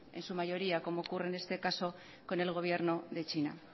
en su mayoría como ocurre en este caso con el gobierno de china